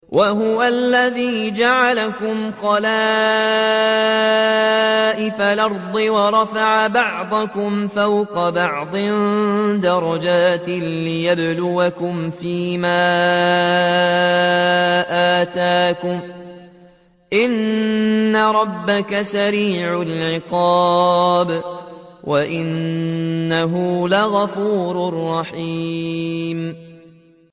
وَهُوَ الَّذِي جَعَلَكُمْ خَلَائِفَ الْأَرْضِ وَرَفَعَ بَعْضَكُمْ فَوْقَ بَعْضٍ دَرَجَاتٍ لِّيَبْلُوَكُمْ فِي مَا آتَاكُمْ ۗ إِنَّ رَبَّكَ سَرِيعُ الْعِقَابِ وَإِنَّهُ لَغَفُورٌ رَّحِيمٌ